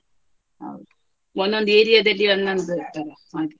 ಹೌದು ಒಂದೊಂದು area ದಲ್ಲಿ ಒಂದೊಂದು ತರ ಮಾಡು.